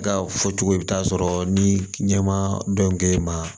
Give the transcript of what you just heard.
Ka fɔ cogo i bi t'a sɔrɔ ni ɲɛ ma dɔn k'e ma